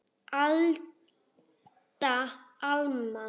Alda, Alma.